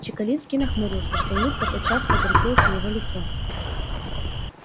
чекалинский нахмурился что улыбка тотчас возвратилась на его лицо